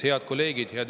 Head kolleegid!